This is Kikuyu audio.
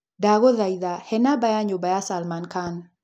Ndagũthaitha he namba ya nyũmba ya Salman Khan